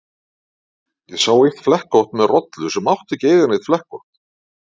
Ég sá eitt flekkótt með rollu sem átti ekki að eiga neitt flekkótt.